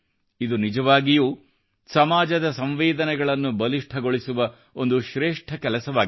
ಇದು ನಿಜವಾಗಿಯೂ ಸಮಾಜದ ಸಂವೇದನೆಗಳನ್ನು ಬಲಿಷ್ಠಗೊಳಿಸುವ ಒಂದು ಶ್ರೇಷ್ಠ ಕೆಲಸವಾಗಿದೆ